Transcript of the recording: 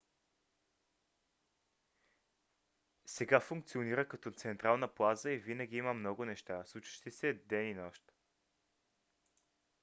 сега функционира като централна плаза и винаги има много неща случващи се ден и нощ